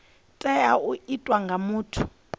tea u itwa nga muthu